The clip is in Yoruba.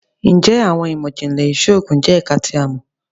Njẹ Awọn imọ-jinlẹ Iṣoogun Ipilẹ jẹ ẹka ti a mọ?